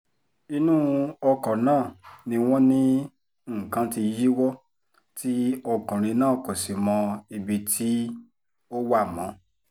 inú ọkọ̀ náà ni wọ́n ní nǹkan tí yíwọ́ tí ọkùnrin náà kò sì mọ ibi tó wà mọ́